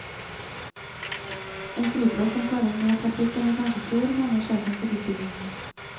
En flyplass som tåler mer trafikk enn vi kanskje tror, mener sjefen for utbyggingen.